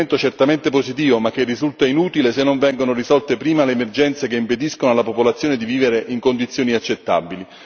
Un provvedimento certamente positivo, ma che risulta inutile se non vengono risolte prima le emergenze che impediscono alla popolazione di vivere in condizioni accettabili.